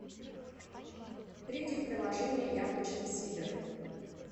перейди в приложение яблочный сидр